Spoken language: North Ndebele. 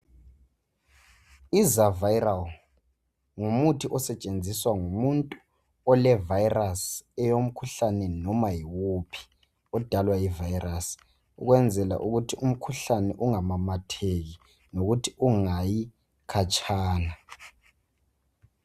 Izaviral ngumuthi osetshenziswa ngumuntu olevirus eyomkhuhlane noma yiwuphi odalwa yivirus. Ukwenzela ukuthi umkhuhlane ungamamatheki ,lokuthi ungayi khatshana.